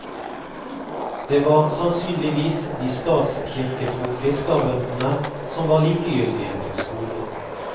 Det var sannsynligvis de statskirketro fiskerbøndene som var likegyldige til skolen.